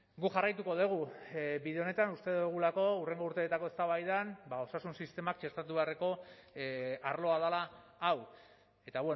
guk jarraituko dugu bide honetan uste dugulako hurrengo urteetako eztabaidan osasun sistemak txertatu beharreko arloa dela hau eta